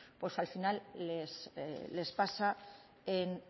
pues al final les pasa en